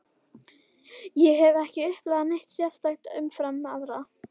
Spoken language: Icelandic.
Ég hef ekki upplifað neitt sérstakt umfram aðra.